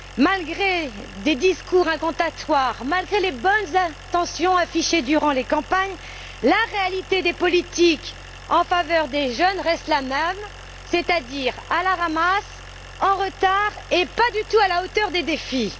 Malgré des discours incantatoires, malgré les bonnes intentions affichées durant les campagnes, la réalité des politiques en faveur des jeunes reste la même, c'est à dire à la ramasse, en retard et pas du tout à la hauteur des défis.